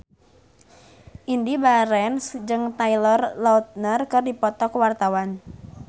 Indy Barens jeung Taylor Lautner keur dipoto ku wartawan